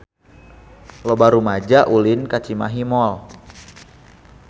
Loba rumaja ulin ka Cimahi Mall